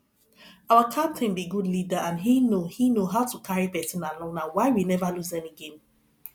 our captain be good leader and he know he know how to carry person along na why we never lose any game